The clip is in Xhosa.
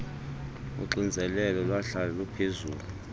uxinzelelo lwahlala luphezulu